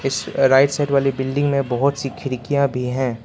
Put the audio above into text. इस right side वाले बिल्डिंग में बहोत सी खिड़कियां भी हैं।